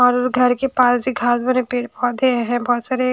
और घर के पास भी घास वाले पेड़ पौधे हैं बहुत सारे --